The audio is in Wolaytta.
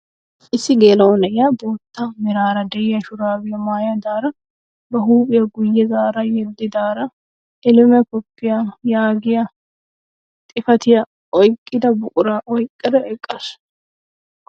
Issi geela'o na'iyaa bootta meraara de'iyaa shuraabiyaa maayidaara ba huphphiyaa guye zaarada yeddidara "ELIM COFFEE" yaagiyaa xifatiyaa oyqqida buquraa oyqqada eqqaasu.